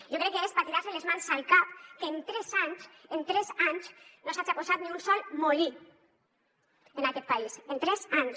jo crec que és per tirar se les mans al cap que en tres anys en tres anys no s’haja posat ni un sol molí en aquest país en tres anys